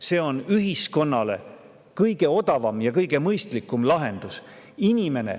See on ühiskonnale kõige odavam ja kõige mõistlikum lahendus.